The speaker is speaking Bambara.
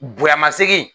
Bonyama segin